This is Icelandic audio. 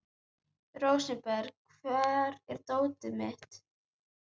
Rósinberg, hvar er dótið mitt?